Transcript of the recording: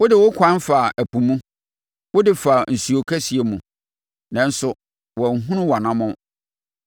Wode wo kwan faa ɛpo mu, wode faa nsuo kɛseɛ mu, nanso wɔanhunu wʼanammɔn.